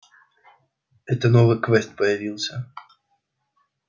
это новый квест появился